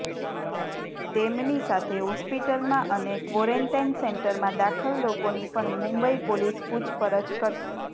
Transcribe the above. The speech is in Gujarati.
તેમની સાથે હોસ્પિટલમાં અને ક્વોરેન્ટાઈન સેન્ટરમાં દાખલ લોકોની પણ મુંબઈ પોલીસ પૂછપરછ કરશે